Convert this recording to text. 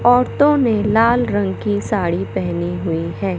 औरतों ने लाल रंग की साड़ी पहनी हुई है।